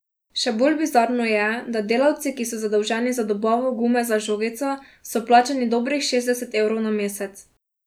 Še bolj bizarno je, da delavci ki so zadolženi za dobavo gume za žogico, so plačani dobrih šestdeset evrov na mesec.